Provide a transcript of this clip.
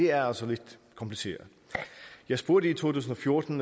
er altså lidt kompliceret jeg spurgte i to tusind og fjorten